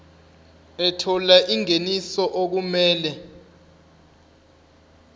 ethola ingeniso okumele